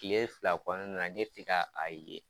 Kile fila kɔnɔna na , ne ti ka a ye.